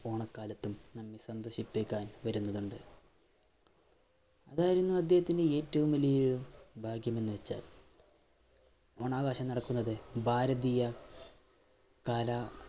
ഓണക്കാലത്തും നമ്മെ സന്തോഷിപ്പിക്കാൻ വരുന്നുണ്ട്. അതായിരുന്നു അദ്ദേഹത്തിന്റെ ഏറ്റവും വലിയ ഭാഗ്യം എന്ന് വച്ചാൽ ഓണാഘോഷം നടക്കുന്നത് ഭാരതീയ കാല